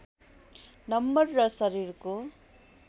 number र शरीरको